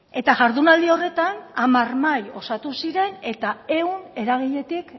eta jardunaldi horretan hamar mahai osatu ziren eta ehun eragiletik